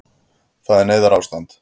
Það er neyðarástand